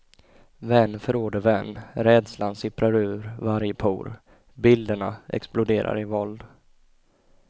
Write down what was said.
Vän förråder vän, rädslan sipprar ur varje por, bilderna exploderar i våld.